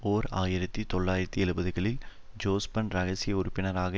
ஓர் ஆயிரத்தி தொள்ளாயிரத்தி எழுபதுகளில் ஜொஸ்பன் இரகசிய உறுப்பினராக